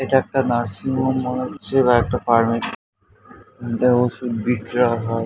এটা একটা nursing home মনে হচ্ছে বা একটা ফার্মেসি এখানটায় ওষুধ বিক্রয় হয়।